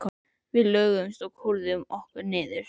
Við lögðumst og kúrðum okkur niður.